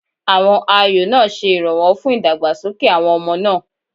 Àwọn ayò náà ṣe ìrànwọ́ fún ìdàgbàsókè àwọn ọmọ náà.